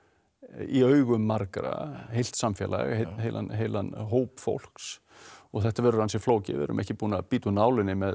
í augum margra heilt samfélag heilan heilan hóp fólks og þetta verður ansi flókið við erum ekki búin að bíta úr nálinni með